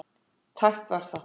Tæpt var það.